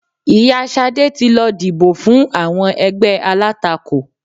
Ìyá Ṣadé ti lọ dìbò fún àwọn ègbé alátakò